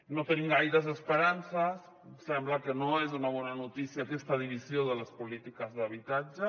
no tenim gaires esperances ens sembla que no és una bona notícia aquesta divisió de les polítiques d’habitatge